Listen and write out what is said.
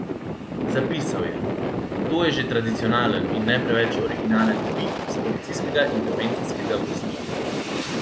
Zapisal je: 'To je že tradicionalen in ne preveč originalen tvit iz policijskega intervencijskega vozila.